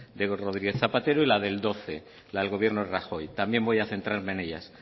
de rodríguez zapatero y la del doce la del gobierno de rajoy también voy a centrarme en ellas